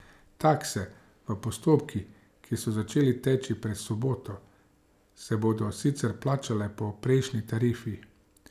Takse v postopkih, ki so začeli teči pred soboto, se bodo sicer plačale po prejšnji tarifi.